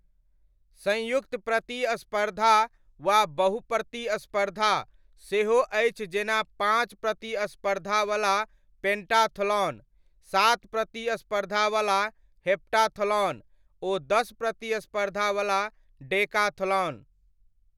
संयुक्त प्रतिस्पर्धा' वा 'बहु प्रतिस्पर्धा ' सेहो अछि जेना पाँच प्रतिस्पर्धावला पेण्टाथलॉन, सात प्रतिस्पर्धावला हेप्टाथलॉन ओ दस प्रतिस्पर्धावला डेकाथलॉन।